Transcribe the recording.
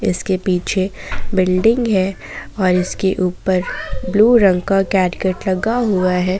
इसके पीछे बिल्डिंग है और इसके ऊपर ब्लू रंग का लगा हुआ है।